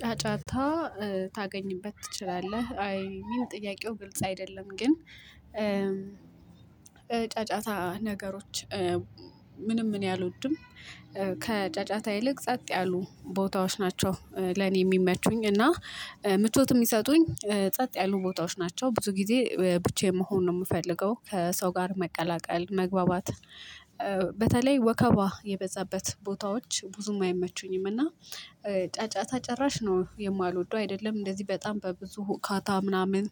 ጫጫታ ታገኝበት ትችላለህ አይ የሚል ጥያቄው ግልጽ አይደለም ግን። ጫጫታ ነገሮች ምንም እኔ አልወድም ከጫጫታ ይልቅ ጸጥ ያሉ ቦታዎች ናቸው ለኔ የሚመቹኝ። እና ምቾት የሚሰጡኝ ጸጥ ያሉ ቦታዎች ናቸው ብዙ ጊዜ ብቻየን መሆን ነው የምፈልገው ከሰው ጋር መቀላቀል መግባባት። በተለይ ወከባ የበዛበት ቦታዎች ብዙም አይመቹኝም። እና ጫጫታ ጭራሽ ነው የማልወደው አይደለም እንደዚህ በጣም በብዙ ሁካታ ምናምን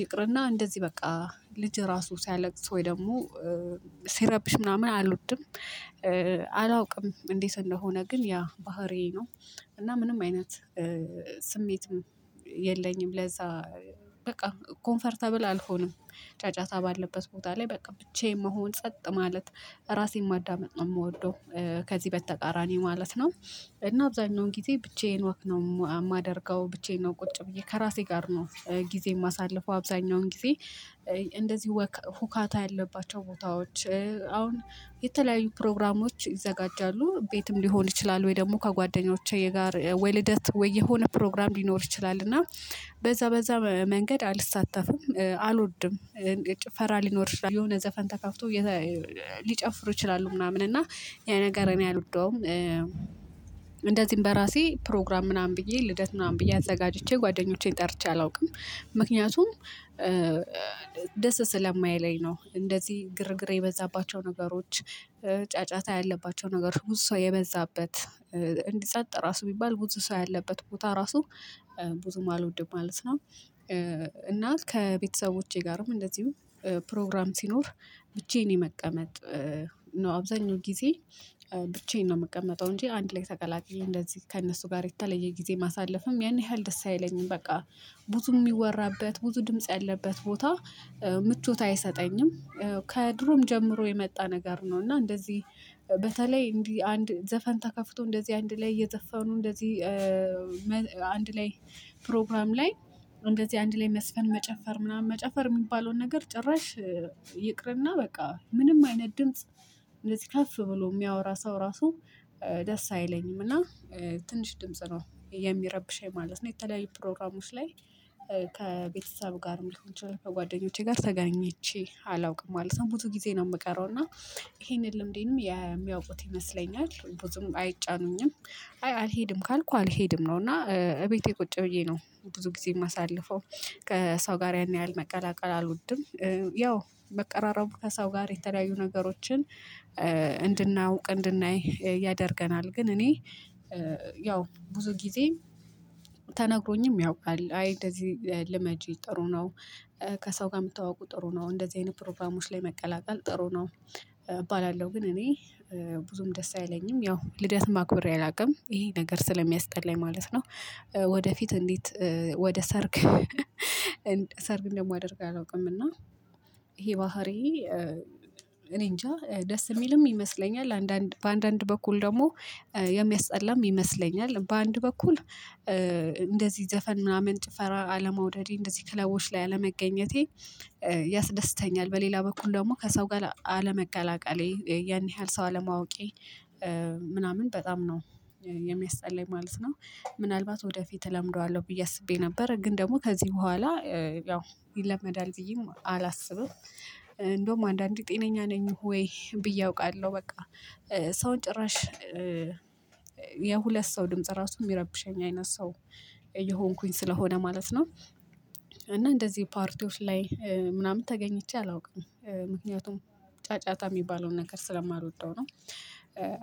ይቅርና እንደዚህ በቃ ልጅ ራሱ ሲያለቅስ ወይ ደግሞ ሲረብሽ ምናምን አልወድም። አላውቅም እንዴት እንደሆነ ግን ያ ባህሪዬ ነው። እና ምንም አይነት ስሜትም የለኝም ለዛ በቃ ኮምፈርተብል አልሆንም። ጫጫታ ባለበት ቦታ ላይ በቃ ብቻዬን መሆን ጸጥ ማለት ራሴን ማዳመጥ ነው የምወደው። ከዚህ በተቃራኒ ማለት ነው። እና አብዛኛውን ጊዜ ብቻዬን ወክ ነው የማደርገው ብቻዬን ነው ቁጭ ብዬ ከራሴ ጋር ነው ጊዜ የማሳልፈው አብዛኛውን ጊዜ። እንደዚህ ወክ ሁካታ ያለባቸው ቦታዎች አሁን የተለያዩ ፕሮግራሞች ይዘጋጃሉ ቤትም ሊሆን ይችላል ወይ ደግሞ ከጓደኞቼ ጋር ወይ ልደት ወይ የሆነ ፕሮግራም ሊኖር ይችላል እና በዛ በዛ መንገድ አልሳተፍም አልወድም። ጭፈራ ሊኖር ይችላል የሆነ ዘፈን ተከፍቶ ሊጨፍሩ ይችላሉ ምናምን እና ያ ነገር እኔ አልወደውም። እንደዚህም በራሴ ፕሮግራም ምናምን ብዬ ልደት ምናምን ብዬ አዘጋጅቼ ጓደኞቼን ጠርቼ አላውቅም ምክንያቱም ደስ ስለማይለኝ ነው። እንደዚህ ግርግር የበዛባቸው ነገሮች ጫጫታ ያለባቸው ነገሮች ብዙ ሰው የበዛበት እንዲ ጸጥ ራሱ ቢባል ብዙ ሰው ያለበት ቦታ ራሱ ብዙም አልወድም ማለት ነው። እና ከቤተሰቦቼ ጋርም እንደዚሁ ፕሮግራም ሲኖር ብቻዬን መቀመጥ ነው አብዛኛው ጊዜ ብቻዬን ነው የምቀመጠው እንጂ አንድ ላይ ተቀላቅየ እንደዚህ ከእነሱ ጋር የተለየ ጊዜ ማሳለፍም ያን ያህል ደስ አይለኝም። በቃ ብዙ የሚወራበት ብዙ ድምጽ ያለበት ቦታ ምቾት አይሰጠኝም። ከድሮም ጀምሮ የመጣ ነገር ነው። እና እንደዚህ በተለይ እንዲህ አንድ ዘፈን ተከፍቶ እንደዚህ አንድ ላይ እየዘፈኑ እንደዚህ አንድ ላይ ፕሮግራም ላይ እንደዚህ አንድ ላይ መዝፈን መጨፈር ምናምን መጨፈር የሚባለውን ነገር ጭራሽ ይቅርና በቃ ምንም አይነት ድምጽ እንደዚህ ከፍ ብሎ የሚያወራ ሰው ራሱ ደስ አይለኝምና። ትንሽ ድምጽ ነው የሚረብሸኝ ማለት ነው። የተለያዩ ፕሮግራሞች ላይ ከቤተሰብ ጋር ሊሆን ይችላል ከጓደኞቼ ጋር ተገኝቼ አላውቅም ማለት ነው። ብዙ ጊዜ ነው የምቀረው እና ይሄንን ልምዴንም የሚያውቁት ይመስለኛል ብዙም አይጫኑኝም። አይ አልሄድም ካልኩ አልሄድም ነው። እና እቤቴ ቁጭ ብዬ ነው ብዙ ጊዜ የማሳልፈው። ከሰው ጋር ያን ያህል መቀላቀል አልወድም። ያው መቀራረቡ ከሰው ጋር የተለያዩ ነገሮችን እንድናውቅ እንድናይ ያደርገናል ግን እኔ ያው ብዙ ጊዜ ተነግሮኝም ያውቃል አይ እንደዚህ ልመጂ ጥሩ ነው። ከሰው ጋር የመተታውቁ ጥሩ ነው እንደዚህ አይነት ፕሮግራሞች ላይ መቀላቀል ጥሩ ነው እባላለሁ። ግን እኔ ብዙም ደስ አይለኝም ያው ልደት ማክበሬ አላውቅም ይሄ ነገር ስለሚያስጠላኝ ማለት ነው። ወደፊት እንዴት ወደ ሰርግ ሰርግ እንደማደርግ አላውቅም። እና ይሄ ባህሪዬ እኔ እንጃ ደስ የሚልም ይመስለኛል አንዳንድ በአንድ በኩል ደግሞ የሚያስጠላም ይመስለኛል። በአንድ በኩል እንደዚህ ዘፈን ምናምን ጭፈራ አለመውደዴ እንደዚህ ክለቦች ላይ አለመገኘቴ ያስደስተኛል። በሌላ በኩል ደግሞ ከሰው ጋር አለመቀላቀሌ ያን ያህል ሰው አለማወቄ ምናምን በጣም ነው የሚያስጠላኝ ማለት ነው። ምናልባት ወደፊት እለምደዋለሁ ብዬ አስቤ ነበር ግን ደግሞ ከዚህ በኋላ ያው ይለመዳል ብዬም አላስብም። እንደውም አንዳንዴ ጤነኛ ነኝ ወይ ብዬ አውቃለሁ። በቃ ሰውን ጭራሽ የሁለት ሰው ድምጽ ራሱ የሚረብሸኝ አይነት ሰው እየሆንኩኝ ስለሆነ ማለት ነው። እና እንደዚህ ፓርቲዎች ላይ ምናምን ተገኝቼ አላውቅም ምክንያቱም ጫጫታ የሚባለውን ነገር ስለማልወደው ነው።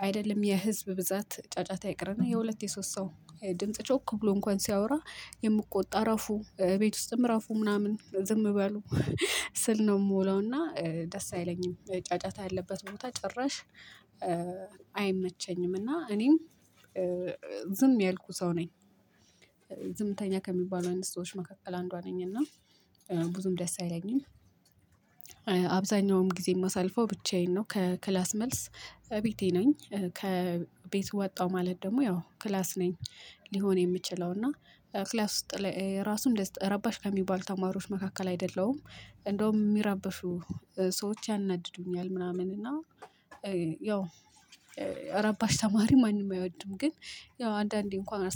አይደለም የህዝብ ብዛት ጫጫታ ይቅርና የሁለት የሶስት ሰው ድምጽ ጮክ ብሎ እንኳን ሲያወራ የምቆጣ ዕረፉ ቤት ውስጥም ዕረፉ ምናምን ዝም በሉ ስል ነው የምውለው። እና ደስ አይለኝም ጫጫታ ያለበት ቦታ ጭራሽ አይመቸኝም። እና እኔም ዝም ያልኩ ሰው ነኝ። ዝምተኛ ከሚባሉ አይነት ሰዎች መካከል አንዷ ነኝ። እና ብዙም ደስ አይለኝም። አብዛኛውም ጊዜ የማሳልፈው ብቻዬን ነው ከክላስ መልስ ቤቴ ነኝ። ከቤት ወጣሁ ማለት ደግሞ ያው ክላስ ነኝ ሊሆን የምችለው እና ክላስ ውስጥ ላይ ራሱ ረባሽ ከሚባል ተማሪዎች መካከል አይደለሁም። እንደውም የሚረብሹ ሰዎች ያናድዱኛል። ምናምን እና ያው ረባሽ ተማሪ ማንም አይወድም። ግን ያው አንዳንዴ እንኳን